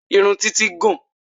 Irun títí gùn ún